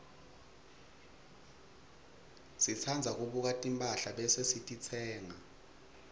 sitsandza kubuka timphahla bese sititsenga